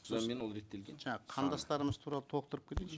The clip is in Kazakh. содан кейін ол реттелген жаңа қандастарымыз туралы толықтырып кетейінші